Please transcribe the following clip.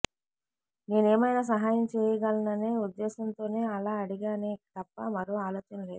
నేనేమైనా సహాయం చేయగలననే ఉద్దేశంతోనే అలా అడిగానే తప్ప మరో ఆలోచన లేదు